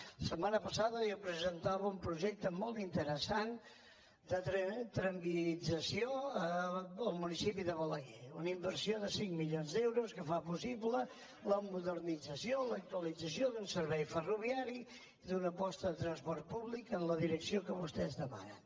la setmana passada jo presentava un projecte molt interessant de tramviarització en el municipi de balaguer una inversió de cinc milions d’euros que fa possible la modernització l’actualització d’un servei ferroviari d’una aposta de transport públic en la direcció que vostès demanen